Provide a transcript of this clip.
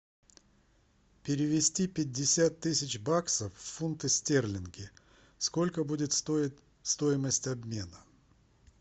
перевести пятьдесят тысяч баксов в фунты стерлинги сколько будет стоить стоимость обмена